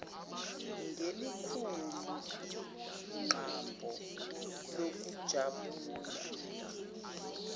ngelikhulu igqabho lokujabula